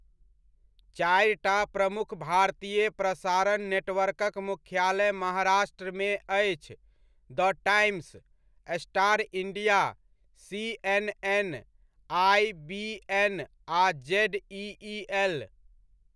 चारिटा प्रमुख भारतीय प्रसारण नेटवर्कक मुख्यालय महाराष्ट्रमे अछि the Times, Star India, CNN IBN आ जेडइइ एल।